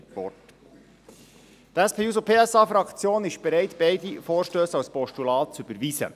Die SP-JUSO-PSA-Fraktion ist bereit, beide Vorstösse als Postulat zu überweisen.